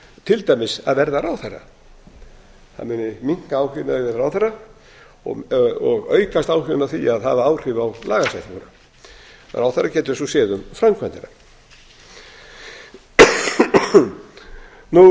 til dæmis að verða ráðherra það muni minnka áhuginn á því að verða ráðherra og aukast áhuginn á því að hafa áhrif á lagasetninguna ráðherra getur svo séð um